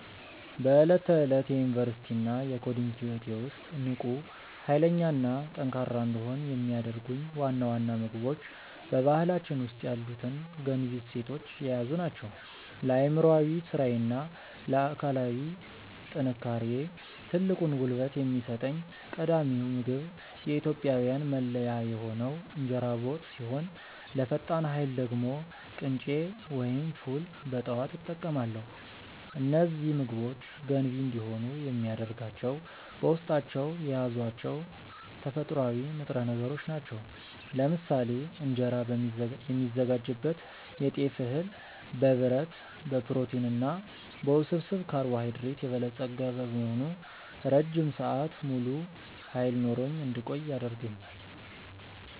በዕለት ተዕለት የዩኒቨርሲቲ እና የኮዲንግ ህይወቴ ውስጥ ንቁ፣ ኃይለኛ እና ጠንካራ እንድሆን የሚያደርጉኝ ዋና ዋና ምግቦች በባህላችን ውስጥ ያሉትን ገንቢ እሴቶች የያዙ ናቸው። ለአእምሯዊ ስራዬ እና ለአካላዊ ጥንካሬዬ ትልቁን ጉልበት የሚሰጠኝ ቀዳሚው ምግብ የኢትዮጵያዊያን መለያ የሆነው እንጀራ በወጥ ሲሆን፣ ለፈጣን ኃይል ደግሞ ቅንጬ ወይም ፉል በጠዋት እጠቀማለሁ። እነዚህ ምግቦች ገንቢ እንዲሆኑ የሚያደርጋቸው በውስጣቸው የያዟቸው ተፈጥሯዊ ንጥረ ነገሮች ናቸው። ለምሳሌ እንጀራ የሚዘጋጅበት የጤፍ እህል በብረት፣ በፕሮቲን እና በውስብስብ ካርቦሃይድሬት የበለጸገ በመሆኑ ረጅም ሰዓት ሙሉ ኃይል ኖሮኝ እንድቆይ ያደርገኛል።